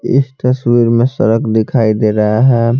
इस तस्वीर में सड़क दिखाई दे रहा है।